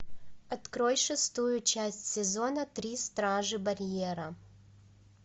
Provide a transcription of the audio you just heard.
открой шестую часть сезона три стражи барьера